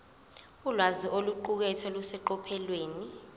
ulwazi oluqukethwe luseqophelweni